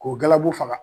K'o galabu faga